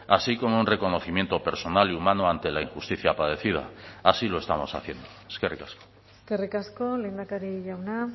así como un reconocimiento personal y humano ante la injusticia padecida así lo estamos haciendo eskerrik asko eskerrik asko lehendakari jauna